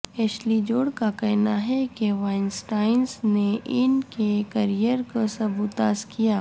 Ashley Judd کا کہنا ہے کہ وائن سٹائن نے ان کے کریئر کو سبوتاژ کیا